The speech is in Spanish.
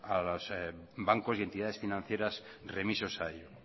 a los bancos y entidades financieras remisos a ello